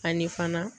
Ani fana